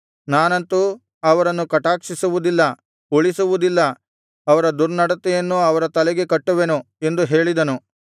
ನಾನಂತು ಅವರನ್ನು ಕಟಾಕ್ಷಿಸುವುದಿಲ್ಲ ಉಳಿಸುವುದಿಲ್ಲ ಅವರ ದುರ್ನಡತೆಯನ್ನು ಅವರ ತಲೆಗೆ ಕಟ್ಟುವೆನು ಎಂದು ಹೇಳಿದನು